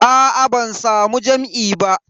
Aa ban samu jam'i ba.